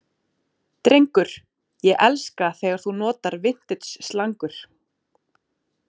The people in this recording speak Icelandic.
Drengur, ég elska þegar þú notar vintage slangur.